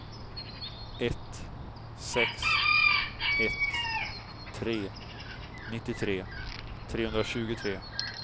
ett sex ett tre nittiotre trehundratjugotre